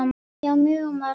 Já, mjög margt.